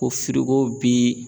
Ko firigo bi